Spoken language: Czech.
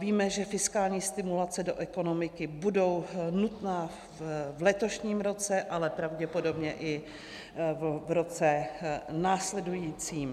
Víme, že fiskální stimulace do ekonomiky budou nutné v letošním roce, ale pravděpodobně i v roce následujícím.